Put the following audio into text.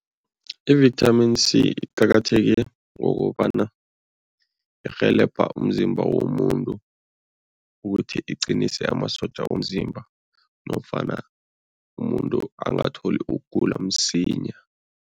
I-Vitamin C iqakatheke ngokobana irhelebha umzimba womuntu ukuthi iqinise amasotja womzimba nofana umuntu angatholi ukugula msinya.